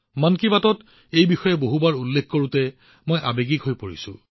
মন কী বাতত তেওঁলোকক বহুবাৰ উল্লেখ কৰোঁতে মই আৱেগিক হৈ পৰিছো